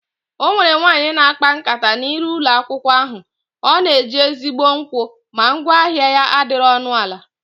Ọnwere nwaanyị na akpa nkata na iru ụlọ akwụkwọ ahụ, ọ na eji ezigbo nkwụ ma ngwa ahịa ya adịrọ ọnụ ana